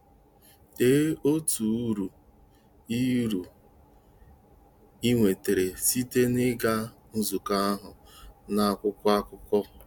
Dee otu uru ị uru ị nwetara site n'ịga nzukọ ahụ, n'akwụkwọ akụkọ.